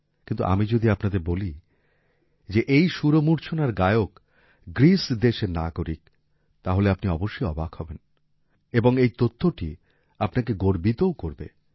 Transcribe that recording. কিন্তু আমি যদি আপনাদের বলি যে এই সুরমূর্ছনার গায়ক গ্রিস দেশের নাগরিক তাহলে আপনি অবশ্যই অবাক হবেন এবং এই তথ্যটি আপনাকে গর্বিতও করবে